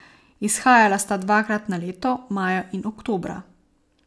Izhajala sta dvakrat na leto, maja in oktobra.